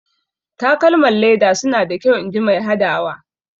Takalman leda suna da kyau inji mai hadawa.